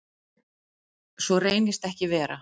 Svo reynist ekki vera.